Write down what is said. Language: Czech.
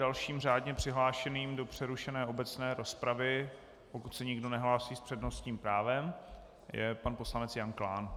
Dalším řádně přihlášeným do přerušené obecné rozpravy, pokud se nikdo nehlásí s přednostním právem, je pan poslanec Jan Klán.